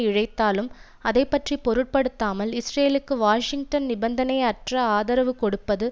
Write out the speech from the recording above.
இழைத்தாலும் அதை பற்றி பொருட்படுத்தாமல் இஸ்ரேலுக்கு வாஷிங்டன் நிபந்தனை அற்ற ஆதரவு கொடுப்பது